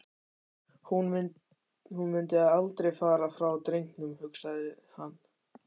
Hún mundi aldrei fara frá drengnum, hugsaði hann.